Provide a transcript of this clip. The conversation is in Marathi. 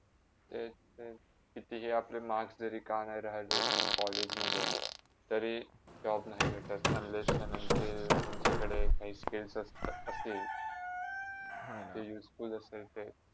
तेच तर कितीही आपले marks तरी रिकामे राहिले तरी, college मधे तरी Job नाय भेटात unless and until तुमच्याकडे काही skills असता असतील हा ना आणि ते useful असतील